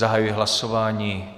Zahajuji hlasování.